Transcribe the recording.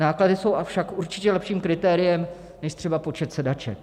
Náklady jsou však určitě lepším kritériem než třeba počet sedaček.